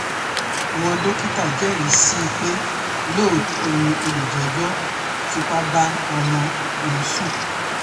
àwọn dókítà jẹ́rìí sí i pé lóòótọ́ ni olùjẹ́jọ́ fipá bá ọmọ ọ̀hún sùn